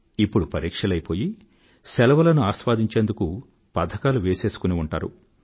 ఇప్పుడు పరీక్షలయిపోయి శెలవులను ఆస్వాదించేందుకు పథకాలు వేసేసుకుని ఉంటారు